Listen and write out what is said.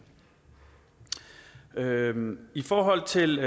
og atten i forhold til